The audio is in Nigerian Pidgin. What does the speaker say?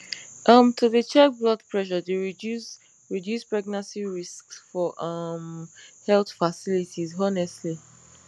um to dey check blood pressure dey reduce reduce pregnancy risks for um health facilities honestly